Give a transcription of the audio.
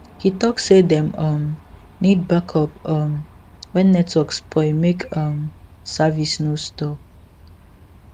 he talk say dem um need backup um when network spoil make um service no stop